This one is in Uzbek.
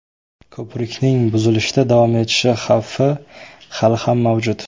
Ko‘prikning buzilishda davom etishi xavfi hali ham mavjud.